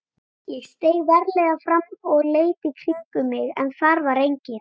Ég steig varlega fram og leit í kringum mig en þar var enginn.